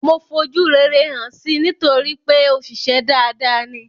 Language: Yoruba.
Mo fojú rere hàn si nítorípé òṣìṣę dada ni.